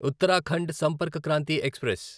Uttarakhand Sampark Kranti express